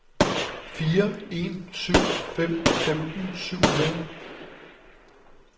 fire en syv fem femten syv hundrede